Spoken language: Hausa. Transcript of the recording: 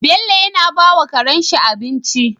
Bello yana bawa Karen shi abinci